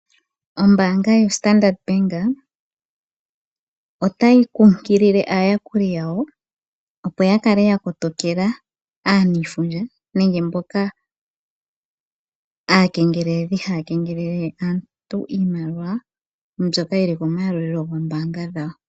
Ombaanga yaStandard bank otayi nkunkilile aayakuli yawo opo yakale yakotokela aaniifundja nenge mboka aakeengeleli, haya keengelele aantu iimaliwa mbyoka yili komayalulilo goombaanga dhawo.